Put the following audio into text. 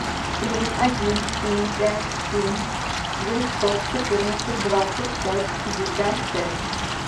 плюс один семь пять семь девятьсот четырнадцать двадцать пять пятьдесят пять